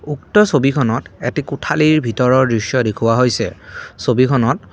উক্ত ছবিখনত এটি কোঠালীৰ ভিতৰৰ দৃশ্য দেখুওৱা হৈছে ছবিখনত--